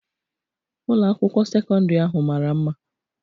Ụlọ akwụkwọ sekọndri ahụ mara mma